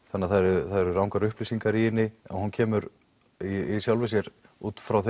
þannig að það eru rangar upplýsingar í henni og hún kemur í sjálfu sér út frá